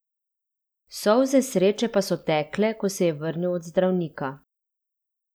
Solze sreče pa so tekle, ko se je vrnil od zdravnika.